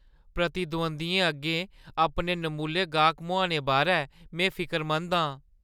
प्रतिद्वंदियें अग्गें अपने नमुल्ले गाह्क मुहाने बारै में फिकरमंद आं।